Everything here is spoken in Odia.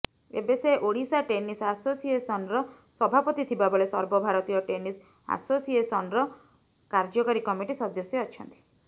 ଏବେ ସେ ଓଡ଼ିଶା ଟେନିସ ଆସୋସିଏସନର ସଭାପତି ଥିବାବେଳେ ସର୍ବଭାରତୀୟ ଟେନିସ ଆସୋସିଏସନର କାର୍ଯ୍ୟକାରୀ କମିଟି ସଦସ୍ୟ ଅଛନ୍ତି